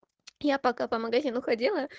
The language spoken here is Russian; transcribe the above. я пока по магазину ходила